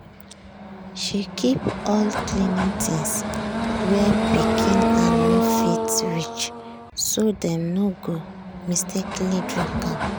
she keep all cleaning things where pikin hand no fit reach so dem no go mistakenly drink am.